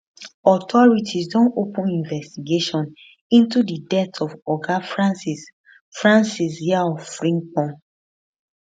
authorities don open investigation into di death of oga francis francis yaw frimpong